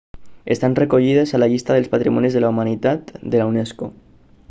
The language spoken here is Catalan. estan recollides a la llista dels patrimonis de la humanitat de la unesco